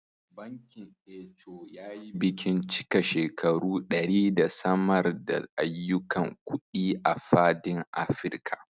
Bankin Eco yayi bikin cika shekaru ɗari da samar da ayyukan kuɗi a fadin Afirka